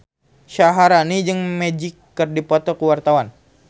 Syaharani jeung Magic keur dipoto ku wartawan